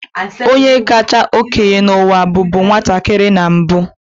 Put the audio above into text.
Onye kacha okenye n'ụwa bụbu nwatakịrị na mbu.